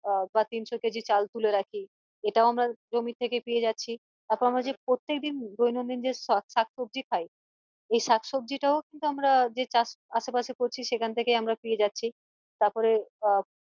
আহ বা তিনশো কেজি চাল তুলে রাখি এটাও আমরা জমি থেকে পেয়ে যাচ্ছি তারপর আমরা যে প্রত্যেকদিন দৈনদিন যে শাক সবজি খাই এই শাক সবজি টাও কিন্তু আমরা যে চাষ আসে পাশে করছি সেখান থেকেই আমরা পেয়ে যাচ্ছি তারপরে আহ